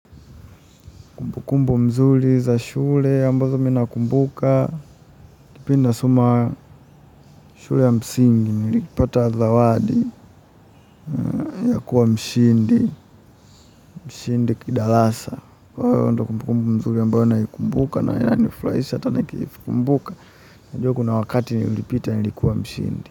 Kukumbu mzuri za shule ambazo mimi nakumbuka, kipi nasoma shule ya msingi, nilipata zawadi, ya kuwa mshindi, mshindi kidarasa. Kwa hivyo hiyo ndyo kumbukumbu mzuri ambayo naikumbuka, na inanifuhrahisha hata nikiimbuka najua kuna wakati nilipita nilikuwa mshindi.